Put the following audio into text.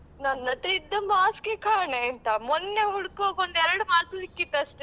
ನನ್ನತ್ರ ಇದ್ದ mask ಎ ಕಾಣೆ ಆಯ್ತಾ ಮೊನ್ನೆ ಹುಡುಕ್ವಾಗ ಒಂದ್ ಎರಡ್ mask ಸಿಕ್ಕಿತ್ ಅಷ್ಟೆ.